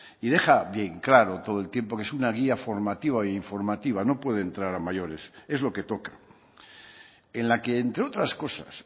y deja bien claro todo el tiempo que es una guía formativa e informativa no puede entrar a mayores es lo que toca en la que entre otras cosas